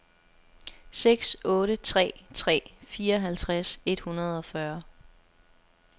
seks otte tre tre fireoghalvtreds et hundrede og fyrre